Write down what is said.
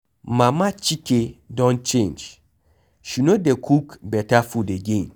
Mama Chike don change. She no dey cook beta food again.